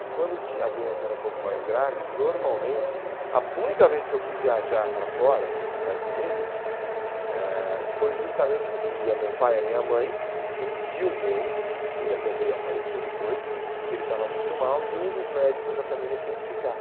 E quando tinha a doença era um pouco mais grave, normalmente... A única vez que eu fui viajar para fora, para os Estados Unidos, eh foi justamente porque ia meu pai e a minha mãe, e tinha um tio meu, que ele até veio a falecer depois, que ele estava muito mal, e um dos médicos da família tinha que ficar.